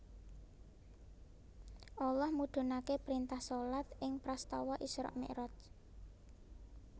Allah mudhunake printah shalat ing prastawa Isra Miraj